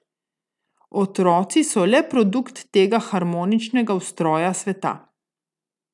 Otroci so le produkt tega harmoničnega ustroja sveta.